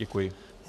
Děkuji.